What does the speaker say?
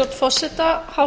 hafa fleiri viðstadda